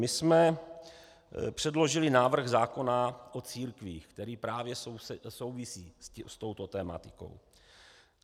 My jsme předložili návrh zákona o církvích, který právě souvisí s touto tematikou.